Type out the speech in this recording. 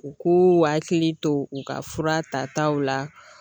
U k'u hakili to u ka fura tataw la